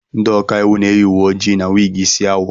Ndị ọka iwu na-eyi uwe ojii na wig isi awọ.